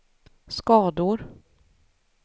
skador